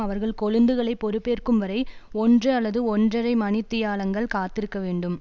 அவர்கள் கொழுந்துகளை பொறுப்பேற்கும் வரை ஒன்று அல்லது ஒன்றரை மணித்தியாலங்கள் காத்திருக்க வேண்டும்